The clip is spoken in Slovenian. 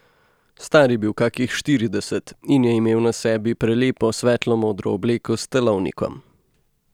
Star je bil kakih štirideset in je imel na sebi prelepo svetlo modro obleko s telovnikom.